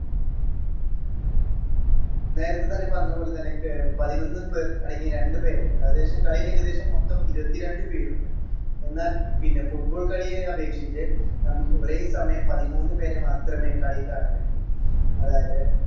നേരെത്തെ തന്നെ പറഞ്ഞ പോലെ തന്നെ പതിനൊന്ന് പേർ അടങ്ങിയ രണ്ട് pair ഏകദേശം കളിയിൽ ഏകദേശം മൊത്തം ഇരുപത്തിരണ്ട്‍ പേരുണ്ട്. എന്നാൽ പിന്നെ football കളിയെ അപേക്ഷിച്ച് നമുക്ക് ഒരേ സമയം പതിമൂന്ന് പേരെ മാത്രമേ കളിയിൽ കേറാൻ കഴിയൂ. അതായത്